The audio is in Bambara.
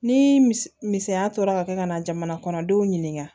Ni misɛnya tora ka kɛ ka na jamana kɔnɔ denw ɲininka